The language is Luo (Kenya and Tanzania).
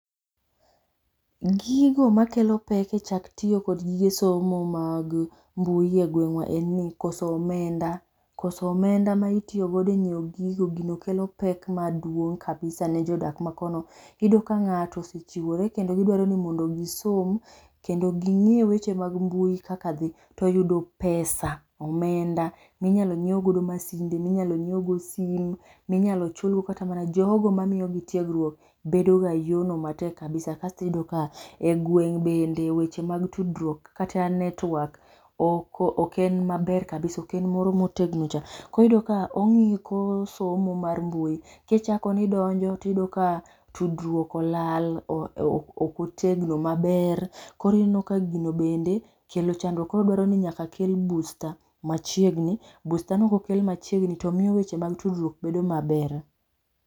Gigo ma kelo pek e chak tiyo kod gige somo mag mbui e gweng wa en ni koso omenda. Koso omenda ma itiyo godo e ng'iewo gigo gin kelo pek maduong' kabisa ne jodak ma kono. iyudo ka ng'ato osechiwore modno gi som kendo gi ng'e eweche mag mbui kaka dhi, to yudo pesa omenda ma inyalo ng'iew go masinde gi mi inyalo nyiew go sim, ma inyalo chul go kata jo go ma miyo gi tiegruok bedo ga yoo no matek kabisa asto iyudo ni e gwenge bende weche mag tudruok kata network ok en maber kabisa ok en moro ma otegno cha koro iyudo ka ong'iko somo mar mbui ki ichako ni idonjo to iyudo ka tudruok olal ok otegno maber koro ineno ka gino bende kelo chandruok . Koro dwaro ni nyaka kel booster ma chegni booster no ko okel machiegni to miyo tudruok bedo ma ber.